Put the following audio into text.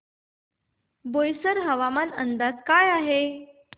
बोईसर हवामान अंदाज काय आहे